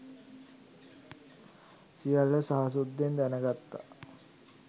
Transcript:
සියල්ල සහසුද්දෙන් දැනගත්ත